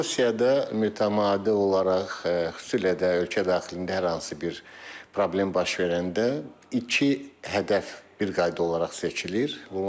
Rusiyada mütəmadi olaraq xüsusilə də ölkə daxilində hər hansı bir problem baş verəndə iki hədəf bir qayda olaraq seçilir.